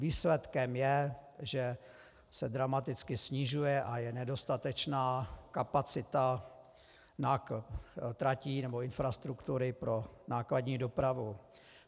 Výsledkem je, že se dramaticky snižuje a je nedostatečná kapacita tratí nebo infrastruktury pro nákladní dopravu.